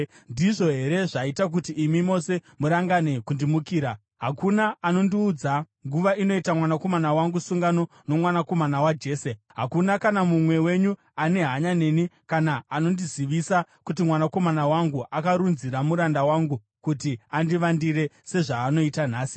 Ndizvo here zvaita kuti imi mose murangane kundimukira? Hakuna anondiudza nguva inoita mwanakomana wangu sungano nomwanakomana waJese. Hakuna kana mumwe wenyu ane hanya neni kana anondizivisa kuti mwanakomana wangu akarunzira muranda wangu kuti andivandire, sezvaanoita nhasi.”